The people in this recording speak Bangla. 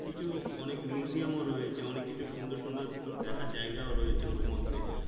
কিছু অনেক museum ও রয়েছে অনেক কিছু সুন্দর সুন্দর দেখার জায়গায় রয়েছে ওর মধ্যে।